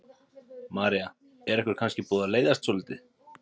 María: Er ykkur kannski búið að leiðast svolítið?